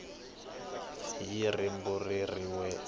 fi hi rimbambu rin we